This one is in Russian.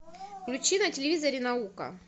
включи на телевизоре наука